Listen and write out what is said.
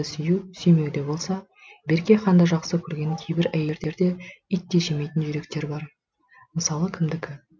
сүю сүймеуде болса берке ханды жақсы көрген кейбір әйелдерде ит те жемейтін жүректер бар мысалы кімдікі